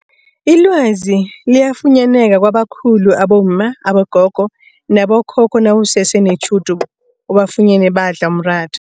Ilwazi liyafunyaneka kwabakhulu abomma, abogogo nabokhokho nawusese netjhudu ubafunyene badla umratha.